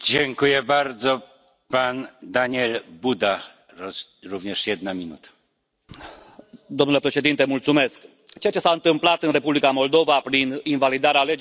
Domnul președinte, ceea ce s a întâmplat în Republica Moldova prin invalidarea alegerilor pentru primăria municipiului Chișinău este inacceptabil, fie chiar și pentru o democrația în curs de formare.